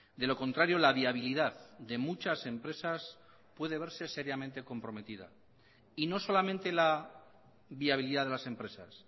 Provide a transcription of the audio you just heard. de lo contrario la viabilidad de muchas empresas puede verse seriamente comprometida y no solamente la viabilidad de las empresas